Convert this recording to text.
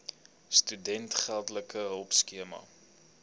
studente geldelike hulpskema